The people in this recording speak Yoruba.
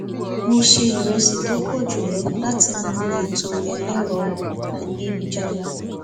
mo se iresi tó pọ ju lọ látinú ètò ẹlẹrọ ayélujára